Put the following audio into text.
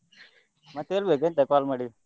ಮತ್ತೆ ಹೇಳ್ಬೇಕು ಎಂತ call ಮಾಡಿದ್ದು?